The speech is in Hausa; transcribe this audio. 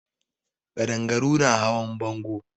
Ƙadangaru na hawan bango.